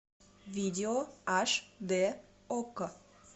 видео аш д окко